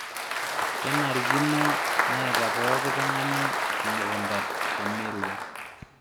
Kenarikino neeta pooki tung'ani emukunta te merua